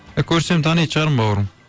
е көрсем танитын шығармын бауырым